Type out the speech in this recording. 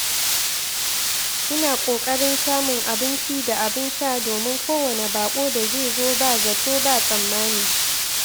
Ina ƙoƙarin samun abinci da abin sha domin kowane bako da zai zo ba zato ba tsammani.